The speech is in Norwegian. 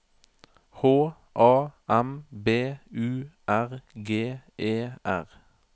H A M B U R G E R